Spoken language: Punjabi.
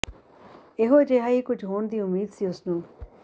ਇਹੋ ਜਿਹਾ ਹੀ ਕੁਝ ਹੋਣ ਦੀ ਉਮੀਦ ਸੀ ਉਸਨੂੰ